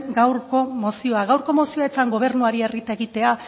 gaurko mozioa gaurko mozioa ez zen gobernuari errieta egitea